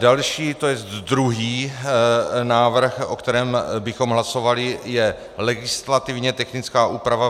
Další, to jest druhý návrh, o kterém bychom hlasovali, je legislativně technická úprava.